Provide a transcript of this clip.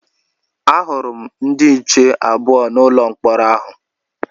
A hụrụ m ndị nche abụọ n'ụlọ mkpọrọ ahụ